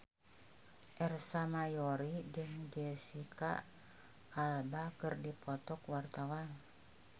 Ersa Mayori jeung Jesicca Alba keur dipoto ku wartawan